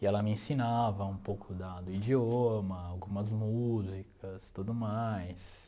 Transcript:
E ela me ensinava um pouco da do idioma, algumas músicas, tudo mais.